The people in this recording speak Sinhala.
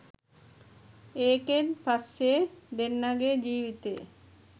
ඒකෙන් පස්සෙ දෙන්නගේ ජීවිතේ